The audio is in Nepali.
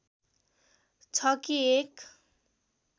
छ कि एक